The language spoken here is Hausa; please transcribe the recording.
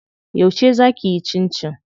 Yauce zaa kiyi cincin?